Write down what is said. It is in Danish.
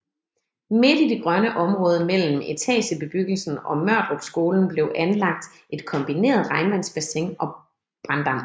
Midt i det grønne område mellem etagebebyggelsen og Mørdrupskolen blev anlagt et kombineret regnvandsbassin og branddam